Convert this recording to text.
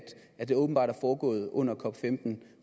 det åbenbart er foregået under cop15